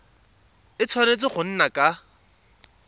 a tshwanetse go nna ka